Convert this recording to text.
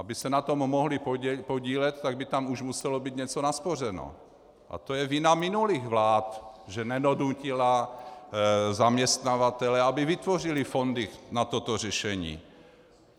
Aby se na tom mohli podílet, tak by tam už muselo být něco naspořeno a to je vina minulých vlád, že nedonutily zaměstnavatele, aby vytvořili fondy na toto řešení.